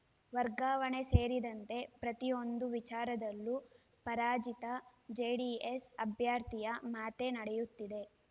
ವರ್ಗಾವಣೆ ಸೇರಿದಂತೆ ಪ್ರತಿಯೊಂದು ವಿಚಾರದಲ್ಲೂ ಪರಾಜಿತ ಜೆಡಿಎಸ್‌ ಅಭ್ಯರ್ಥಿಯ ಮಾತೇ ನಡೆಯುತ್ತಿದೆ